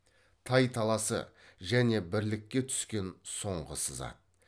тай таласы және бірлікке түскен соңғы сызат